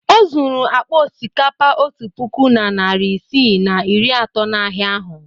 O zuru akpa osikapa otu puku na narị isii na iri atọ n'ahịa ahụ.